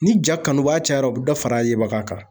Ni ja kanuba cayara u bɛ dɔ fara a yebaga kan.